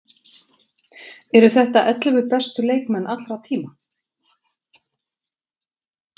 Eru þetta ellefu bestu leikmenn allra tíma?